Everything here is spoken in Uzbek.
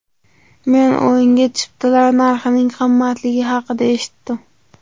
Men o‘yinga chiptalar narxining qimmatligi haqida eshitdim.